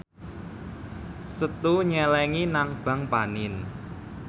Setu nyelengi nang bank panin